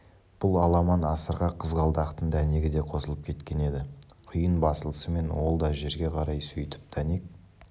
бұл аламан-асырға қызғалдақтың дәнегі де қосылып кеткен еді құйын басылысымен ол да жерге қарай сөйтіп дәнек